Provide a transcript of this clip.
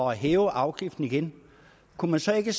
hæve afgiften igen kunne man så ikke